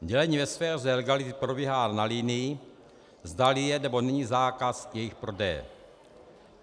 Dělení ve sféře legality probíhá na linii, zdali je, nebo není zákaz jejich prodeje.